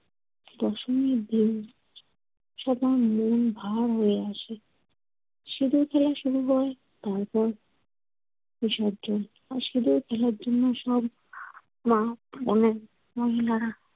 দশমীর দিন সবার মন ভার হয়ে আসে। সিঁদুর খেলা শুরু হয়। তারপর বিসর্জন। আর সিঁদুর খেলার জন্য সব মা অনেক মহিলারা